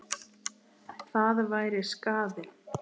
Það væri skaði.